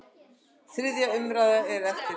Þriðja umræða er eftir.